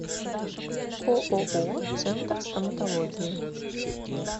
ооо центр стоматологии